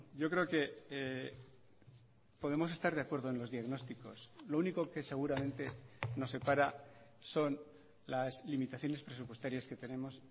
yo creo que podemos estar de acuerdo en los diagnósticos lo único que seguramente nos separa son las limitaciones presupuestarias que tenemos